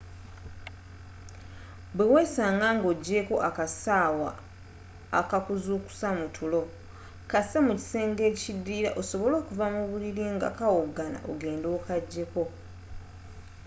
bwewesaanga nga ogyeeko akasaawa akakuzuukusa mutulo kasse mu kisenge ekidirira osobole okuva mubulili nga kawogana ogende okajjeko